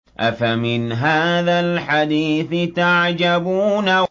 أَفَمِنْ هَٰذَا الْحَدِيثِ تَعْجَبُونَ